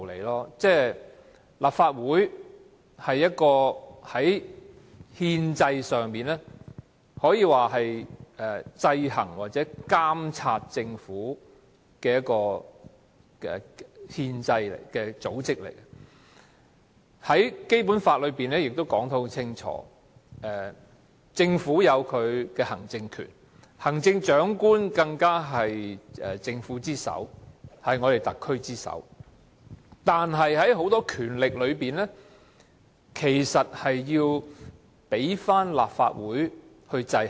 立法會是憲政上負責制衡或監察政府的組織，《基本法》亦訂明政府擁有行政權，而行政長官更是特區政府之首，但很多權力均受立法會制衡。